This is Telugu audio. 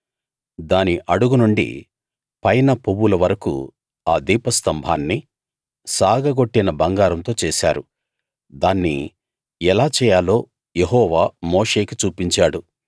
దాని అడుగు నుండి పైన పువ్వుల వరకూ ఆ దీప స్తంభాన్ని సాగగొట్టిన బంగారంతో చేశారు దాన్ని ఎలా చేయాలో యెహోవా మోషేకి చూపించాడు